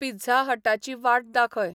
pizza हटाची वाट दाखय